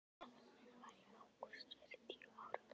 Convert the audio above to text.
Dagurinn minn var í ágúst fyrir tíu árum.